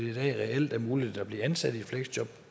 reelt er muligt at blive ansat i fleksjob